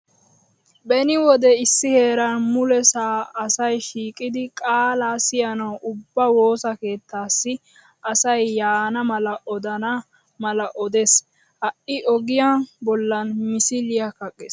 Beni wode issi heeran mulesaa asay shiiqidi qaala siyanawu ubba woosa kettaassi asay yaana mala odana mala odes. Ha'i ogiyaa bollan misiliya kaqqes.